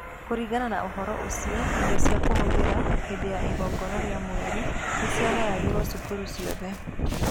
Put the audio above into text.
Kũringana na ũhoro ũcio, indo cia kũhũthĩra hĩndĩ ya igongona rĩa mweri nĩ ciagayagĩrũo cukuru ciothe.